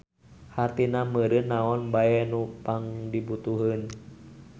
Hartina meureun naon bae nu pangdibutuheun.